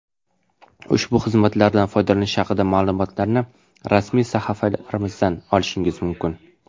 Ushbu xizmatlardan foydalanish haqida ma’lumotlarni rasmiy sahifalarimizdan olishingiz mumkin.